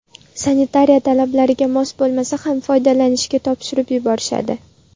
Sanitariya talablariga mos bo‘lmasa ham foydalanishga topshirib yuborishadi.